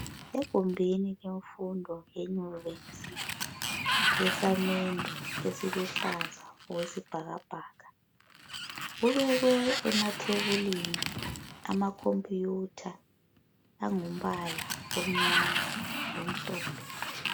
Egumbini lemfundo yeYinvesi yesamende esiluhlaza okwesibhakabhaka kubekwe emathebulini amakhompiyutha angumbala omnyama lomhlophe